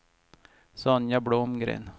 Sonja Blomgren